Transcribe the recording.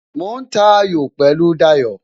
Mo ń ta ayò pẹ̀lú Dayo